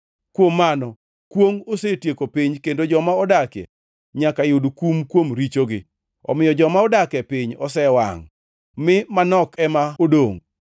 Kuom mano kwongʼ osetieko piny kendo joma odakie nyaka yud kum kuom richogi. Omiyo joma odak e piny osewangʼ mi manok ema odongʼ.